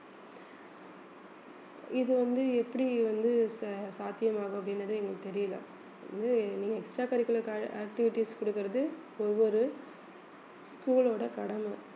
இது வந்து எப்படி வந்து ச~ சாத்தியமாகும் அப்படின்றது எங்களுக்கு தெரியலே இது நீங்க extra curricular க்காக activities கொடுக்கிறது ஒவ்வொரு school ஓட கடமை